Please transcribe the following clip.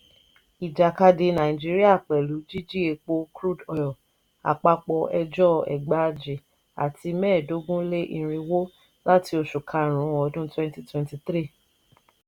ìjàkadì nàìjíríà pẹ̀lú jíjí epo (crude oil ):àpapọ̀ ẹjọ́ ẹgbàajì àti mẹ́ẹ̀dógún-lé -irinwó lati oṣù karùn-ún ọdún twenty twenty three.